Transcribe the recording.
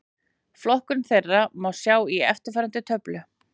Flokkun þeirra má sjá í eftirfarandi töflu: